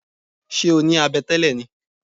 Ṣé o ní abẹ tẹ́lẹ̀ ni?